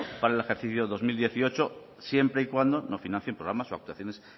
para el ejercicio dos mil dieciocho siempre y cuando no financien programas o actuaciones